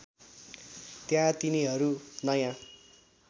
त्यहाँ तिनीहरू नयाँ